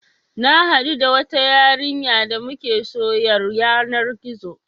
Na haɗu da wata yarinya damuke soyyar yanar gizo